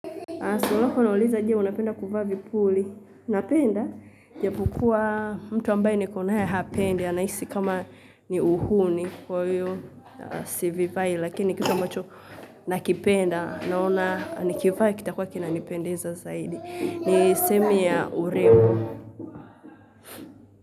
Swali lako unauliza je unapenda kuvaa vipuli. Napenda japo kuwa mtu ambaye nikonae hapendi. Anahisi kama ni uhuni kwa hiyo sivivai. Lakini kitu ambacho nakipenda. Naona nikivaa kita kua kina nipendeza zaidi. Ni sehemu ya urembo.